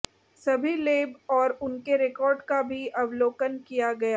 सभी लेब और उनके रिकॉर्ड का भी अवलोकन किया